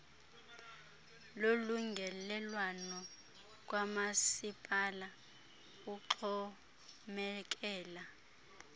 wolungelelwano kwamasipala uxhomekela